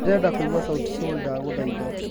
ndĩrenda kuĩgwa sauti sol ndagũhaĩtha